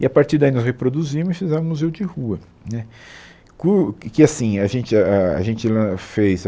E, a partir daí, nós reproduzimos e fizemos um museu de rua né co que assim a gente ah a gente lan fez